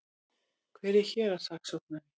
Hver er héraðssaksóknari?